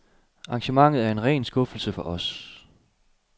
Arrangementet er en ren skuffelse for os.